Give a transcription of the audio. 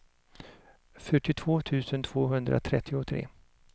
fyrtiotvå tusen tvåhundratrettiotre